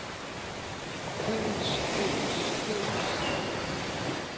køens køens køens